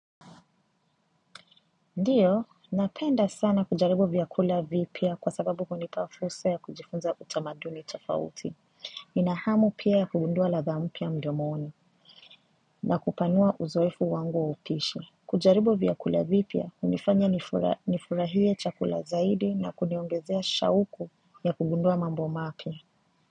Ndiyo, napenda sana kujaribu vyakula vipya kwa sababu kunipa fursa ya kujifunza utamaduni tofauti. Nina hamu pia ya kugundua ladha mpya mdomoni na kupanua uzoefu wangu wa upishi. Kujaribu vyakula vipya, hunifanya nifurahie chakula zaidi na kuniongezea shauku ya kugundua mambo mapya.